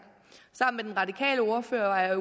sammen med den radikale ordfører var jeg